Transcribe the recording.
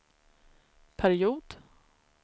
period